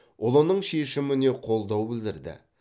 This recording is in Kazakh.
ұлының шешіміне қолдау білдірді